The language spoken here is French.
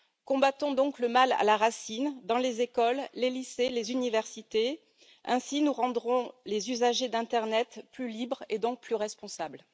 Combattons donc le mal à la racine dans les écoles, les lycées et les universités, ainsi nous rendrons les usagers d'internet plus libres, et donc plus responsables.